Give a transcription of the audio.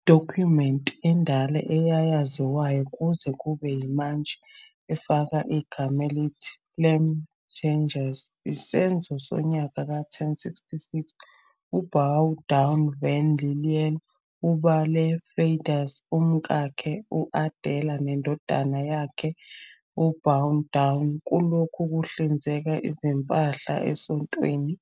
Idokhumenti endala, eyaziwayo kuze kube yimanje, efaka igama elithi Flambertenges, isenzo sonyaka ka-1066. UBaudouin van Lille, ubale Flanders, umkakhe u-Adela nendodana yabo uBaudouin, kulokhu kuhlinzeka izimpahla esontweni